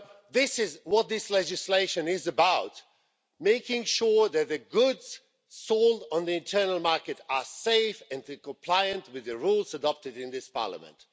This is what this legislation is about making sure that the goods sold on the internal market are safe and compliant with the rules adopted in this Parliament.